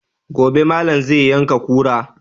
Gobe ne malam zai yanka kura